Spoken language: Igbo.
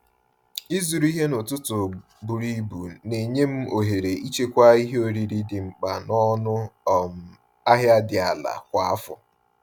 Ịzụrụ ihe n’ụtụtụ buru ibu na-enye m ohere ịchekwa ihe oriri dị mkpa n’ọnụ um ahịa dị ala kwa afọ.